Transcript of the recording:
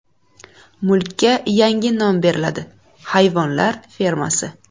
Mulkka yangi nom beriladi – Hayvonlar fermasi.